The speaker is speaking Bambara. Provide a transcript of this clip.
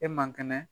E man kɛnɛ